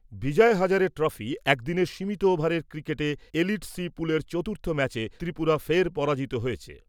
বিজয় Hazare trophy একদিনের সীমিত ওভারের ক্রিকেটে এলিট সি পুলের চতুর্থ ম্যাচে ত্রিপুরা ফের পরাজিত হয়েছে ।